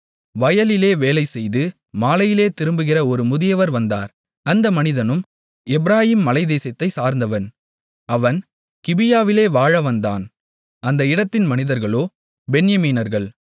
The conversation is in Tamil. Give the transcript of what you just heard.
வயலிலே வேலைசெய்து மாலையிலே திரும்புகிற ஒரு முதியவர் வந்தார் அந்த மனிதனும் எப்பிராயீம் மலைதேசத்தை சார்ந்தவன் அவன் கிபியாவிலே வாழ வந்தான் அந்த இடத்தின் மனிதர்களோ பென்யமீனர்கள்